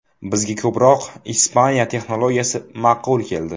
Bizga ko‘proq Ispaniya texnologiyasi ma’qul keldi.